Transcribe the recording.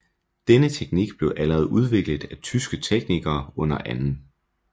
Denne teknik blev allerede udviklet af tyske teknikere under 2